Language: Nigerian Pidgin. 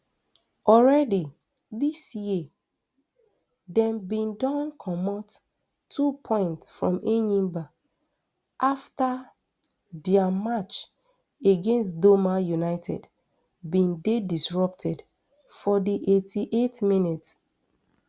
already dis year dem bin don comot two points from enyimba afta dia match against doma united bin dey disrupted for di eighty-eightth minute